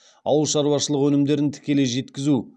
ауылшаруашылық өнімдерін тікелей жеткізу